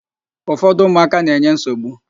Ufọdụ ụmụaka na-enye nsogbu.